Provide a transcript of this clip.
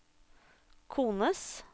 kones